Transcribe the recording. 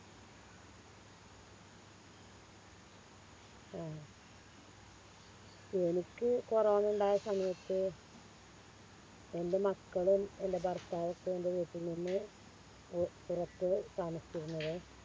ആഹ് എനിക്ക് കൊറോണ ഇണ്ടായ സമയത്ത് എൻറെ മക്കളും എൻറെ ഭർത്താവൊക്കെ എൻറെ വീട്ടിൽ നിന്ന് പു പുറത്ത് താമസിച്ചിരുന്നത്